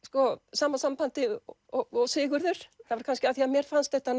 sama sambandi og Sigurður kannski af því að mér fannst þetta